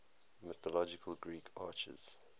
mythological greek archers